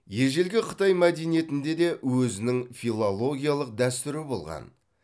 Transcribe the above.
ежелгі қытай мәдениетінде де өзінің филологиялык дәстүрі болған